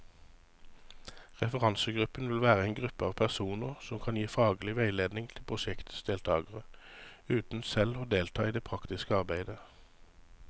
Referansegruppen vil være en gruppe av personer som kan gi faglig veiledning til prosjektets deltagere, uten selv å delta i det praktiske arbeidet.